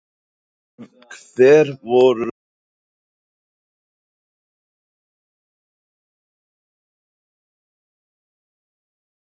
Hver voru viðbrögð Heimis þegar Ísland skoraði sigurmarkið djúpt inn í uppbótartíma?